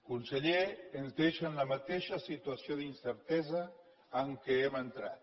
conseller ens deixa en la mateixa situació d’incertesa amb què hem entrat